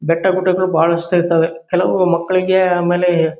ಬೆಟ್ಟ ಗುಡ್ಡಗಳು ಬಹಳಷ್ಟು ಇರ್ತವೆ ಕೆಲವು ಮಕ್ಕಳಿಗೇ ಆಮೇಲೀ --